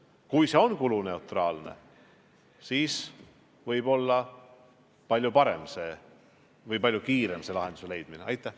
Kui see on kuluneutraalne, siis võib-olla leiame selle lahenduse palju kiiremini.